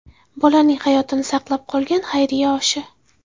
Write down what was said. Bolaning hayotini saqlab qolgan xayriya oshi.